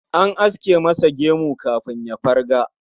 An aske masa gemu kafin ya farga